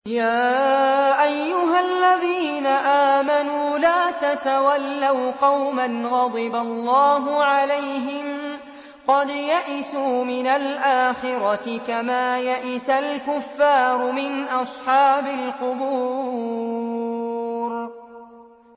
يَا أَيُّهَا الَّذِينَ آمَنُوا لَا تَتَوَلَّوْا قَوْمًا غَضِبَ اللَّهُ عَلَيْهِمْ قَدْ يَئِسُوا مِنَ الْآخِرَةِ كَمَا يَئِسَ الْكُفَّارُ مِنْ أَصْحَابِ الْقُبُورِ